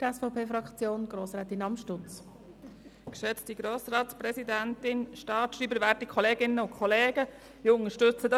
Ich unterstütze das, was mein Vorredner Adrian Haas gesagt hat.